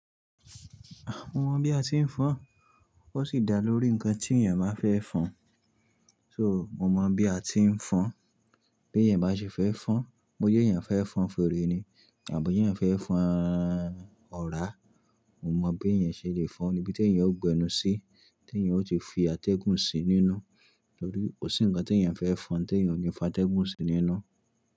Mo mọ̀ bí a ti ń fọn, ó sì dá lórí nǹkan tí ènìyàn máa fẹ́ fọn. So, mo mọ̀ bí a ti ń fọn. Bí ènìyàn bá ṣe fẹ́ fọn, bóyá ènìyàn fẹ́ fọn fèrè ni àbí ènìyàn fẹ́ fọn ọ̀rá, mo mọ̀ bí ènìyàn ṣe le fọn níbi tí ènìyàn ó gbe ẹnu sí, tí ènìyàn ó ti fi atẹ́gùn sí nínú, torí kò sí nǹkan tí ènìyàn fẹ́ fọn tí ènìyàn ò ní fa atẹ́gùn sí nínú.